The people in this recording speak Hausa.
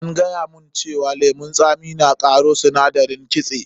An gaya mun cewa lemun tsami na ƙona sindarin kitse.